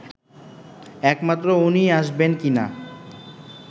একমাত্র উনিই আসবেন কিনা